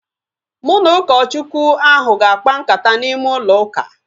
Mụ na ụkọ Chukwu ahu ga-akpa nkata n'ime ụlọ ụka